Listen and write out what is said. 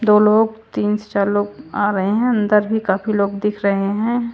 दो लोग तीन चार लोग आ रहे हैं अंदर भी काफी लोग दिख रहे है।